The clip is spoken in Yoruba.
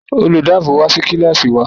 Olùdáàbòò wa sí Kílàsì wa